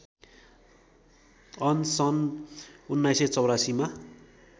on सन् १९८४मा